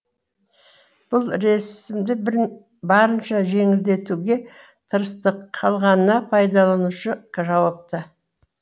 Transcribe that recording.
бұл ресімді барынша жеңілдетуге тырыстық қалғанына пайдаланушы жауапты